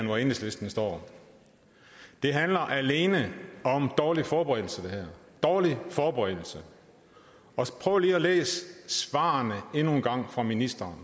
hvor enhedslisten står det her handler alene om dårlig forberedelse dårlig forberedelse prøv lige at læse svarene fra ministeren